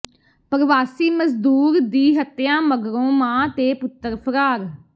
ਪਰਵਾਸੀ ਮਜ਼ਦੂਰ ਦੀ ਹੱਤਿਆ ਮਗਰੋਂ ਮਾਂ ਤੇ ਪੁੱਤਰ ਫ਼ਰਾਰ